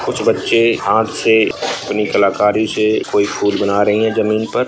कुछ बच्चे हाथ से अपनी कलाकारी से कोई फूल बना रहे हैं जमीन पर।